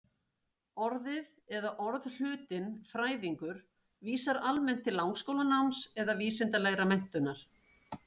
Orðið eða orðhlutinn-fræðingur vísar almennt til langskólanáms eða vísindalegrar menntunar.